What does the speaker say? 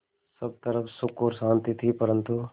सब तरफ़ सुख और शांति थी परन्तु